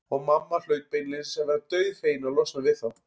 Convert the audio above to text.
Og mamma hlaut beinlínis að vera dauðfegin að losna við þá.